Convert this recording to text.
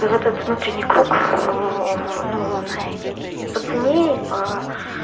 да в этот внутренний круг ну он и по цене и по